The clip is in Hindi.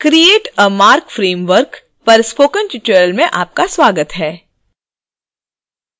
create a marc framework पर spoken tutorial में आपका स्वागत है